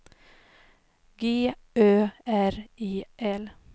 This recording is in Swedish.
G Ö R E L